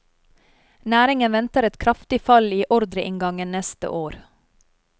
Næringen venter et kraftig fall i ordreinngangen neste år.